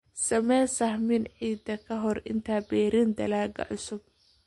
Samee sahamin ciidda ka hor inta aanad beerin dalagyo cusub.